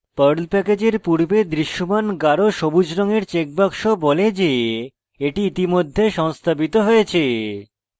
perl প্যাকেজের পূর্বে দৃশ্যমান গাঢ় সবুজ রঙের চেকবাক্স বলে the the ইতিমধ্যে সংস্থাপিত হয়েছে